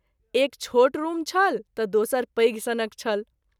एक छोट रूम छल त’ दोसर पैघ सनक छल।